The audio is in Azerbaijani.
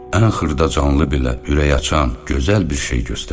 Ən xırda canlı belə ürəkaçan, gözəl bir şey göstərdi.